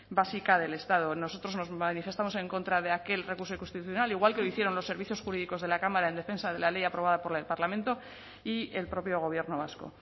básica del estado nosotros nos manifestamos en contra de aquel recurso constitucional igual que lo hicieron los servicios jurídicos de la cámara en defensa de la ley aprobada por el parlamento y el propio gobierno vasco